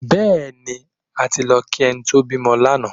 Bẹ́ẹ̀ni, a ti lọ kí ẹni tó bímọ lánàá